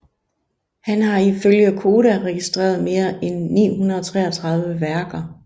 Han har ifølge Koda registreret mere end 933 værker